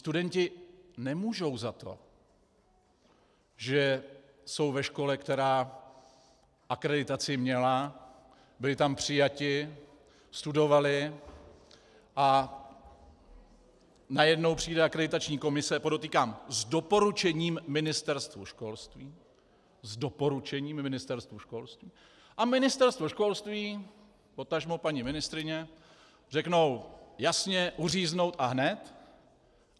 Studenti nemůžou za to, že jsou ve škole, která akreditaci měla, byli tam přijati, studovali, a najednou přijde akreditační komise, podotýkám, s doporučením Ministerstvu školství - s doporučením Ministerstvu školství - a Ministerstvo školství, potažmo paní ministryně řeknou: Jasně, uříznout a hned!